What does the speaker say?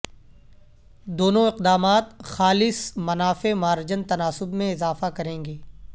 دونوں اقدامات خالص منافع مارجن تناسب میں اضافہ کریں گے